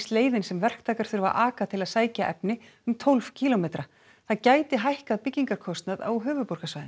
leið sem verktakar þurfa að aka til að sækja efni um tólf kílómetra það gæti hækkað byggingarkostnað á höfuðborgarsvæðinu